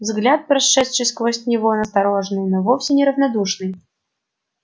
взгляд прошедший сквозь него настороженный но вовсе не равнодушный